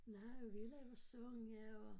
Nej og vi laver sange og